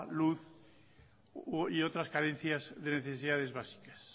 luz y otras carencias de necesidades básicas